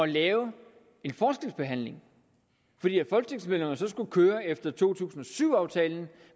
lave en forskelsbehandling fordi folketingsmedlemmerne så skulle køre efter to tusind og syv aftalen